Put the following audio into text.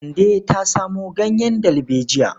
Kande ta samo ganyen dalbejiya.